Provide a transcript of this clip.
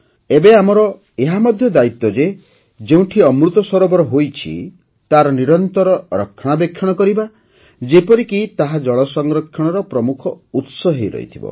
ଏବେ ଆମର ଏହା ମଧ୍ୟ ଦାୟିତ୍ୱ ଯେ ଯେଉଁଠି ଅମୃତ ସରୋବର ହୋଇଛି ତାର ନିରନ୍ତର ରକ୍ଷଣାବେକ୍ଷଣ କରିବା ଯେପରିକି ତାହା ଜଳ ସଂରକ୍ଷଣର ପ୍ରମୁଖ ଉତ୍ସ ହୋଇ ରହିଥିବ